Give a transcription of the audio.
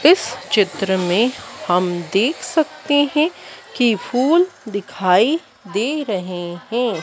इस चित्र में हम देख सकते हैं कि फूल दिखाई दे रहे हैं।